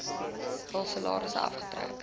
hul salarisse afgetrek